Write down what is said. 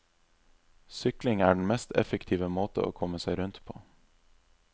Sykling er den mest effektive måte å komme seg rundt på.